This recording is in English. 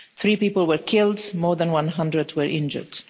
Three people were killed, and more than 100 were injured.